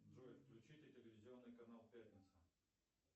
джой включите телевизионный канал пятница